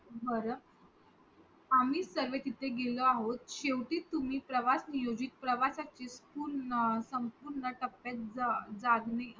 बर आम्ही सर्वे तिथे गेलो आहोत शेवटी तुम्ही प्रवास नियोजित प्रवाशाचे संम्पूर्ण टप्यात जागो